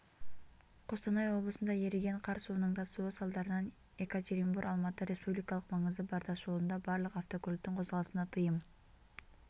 қостанай облысында еріген қар суының тасуы салдарынан екатеринбор-алматы республикалық маңызы бар тасжолында барлық автокөліктің қозғалысына тыйым